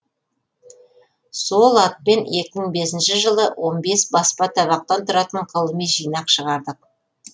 сол атпен екі мың он бесінші жылы он бес баспа табақтан тұратын ғылыми жинақ шығардық